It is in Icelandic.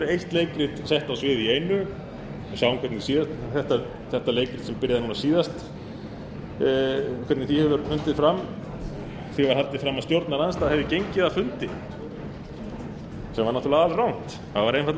eitt leikrit sett á svið í einu við sáum hvernig þetta leikrit byrjaði núna síðast hvernig því hefur undið fram því var haldið fram að stjórnarandstaðan hafi gengið af fundi sem